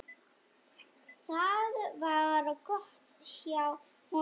Það var gott hjá honum.